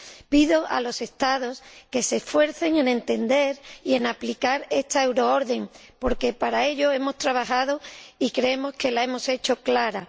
Pido a los Estados que se esfuercen en entender y en aplicar esta orden porque para ello hemos trabajado, y creemos que la hemos hecho clara.